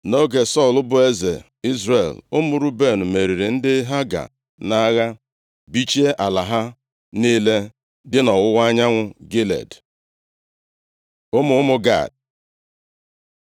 Nʼoge Sọl bụ eze Izrel, ụmụ Ruben meriri ndị Haga nʼagha, bichie ala ha niile dị nʼọwụwa anyanwụ Gilead. Ụmụ ụmụ Gad